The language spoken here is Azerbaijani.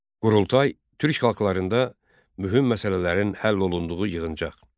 Qurultay türk xalqlarında mühüm məsələlərin həll olunduğu yığıncaq.